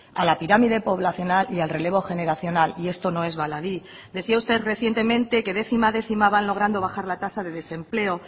a la pirámide poblacional y al relevo generacional y esto no es baladí decía usted recientemente que décima a décima van logrando bajar la tasa de desempleo